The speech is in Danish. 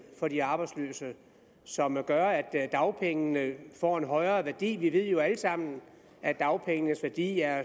for de arbejdsløse som gør at dagpengene får en højere værdi vi ved jo alle sammen at dagpengenes værdi er